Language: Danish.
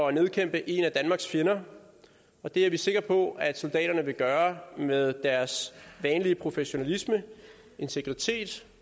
at nedkæmpe en af danmarks fjender og det er vi sikre på at soldaterne vil gøre med deres vanlige professionalisme integritet